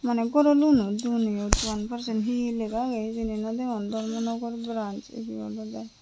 mane goro loano duon eyot one percentage he he lega agey hijeni nodegon dormonogor branch ebey olowde.